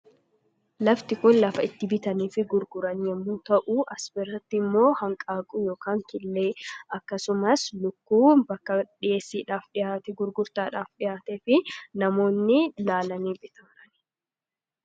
Lafti kun lafa itti bitanii fi gurguran yommuu ta'uu asirratti immoo hanqaaquu ykn killee akkasumas lukkuu bakka dhiheessiidhaaf dhihaate gurgurtaadhaaf dhihaate fi namoonni laalanii bitaa jiranidha.